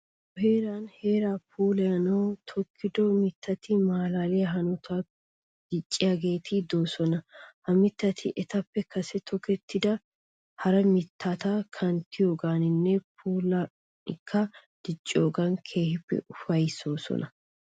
Nu heeran heeraa puulayanawu tokkido mittati maalaaliya hanotan dicciyageeti de'oosona. Ha mittati etappe kase tokettida hara mittata kanttiyoogaaninne puulankka dicciyoogan keehippe ufayissoosona.